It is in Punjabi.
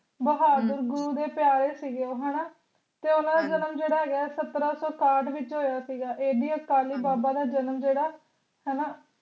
ਬਹਾਦੁਰ ਗੁਰੂ ਦੇ ਪਯਾਰੇ ਸੀਗੇ ਹਣਾ ਜੋ ਓਨਾ ਦਾ ਜਨਮ ਜੇਦਾ ਹੇਗਾ ਸਤਰਾਂ ਸੋ ਇਕਾਠ ਵਿਚ ਹੋਇਆ ਸੀਗਾ ਇਹ ਬੀ ਆਕਾਲੀ ਬਾਬਾ ਦਾ ਜਨਮ ਜੇਦਾ ਹਣਾ